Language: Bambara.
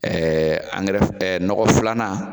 Ɛɛ angrɛ nɔgɔ filanan